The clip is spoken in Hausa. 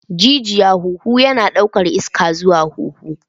Gigiya huhu yana ɗaukar iska zuwa huhu.